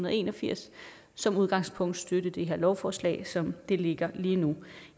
og en og firs som udgangspunkt støtte det her lovforslag som det ligger lige nu